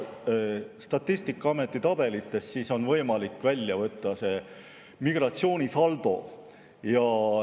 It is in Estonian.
Statistikaameti tabelitest on võimalik välja võtta migratsioonisaldo.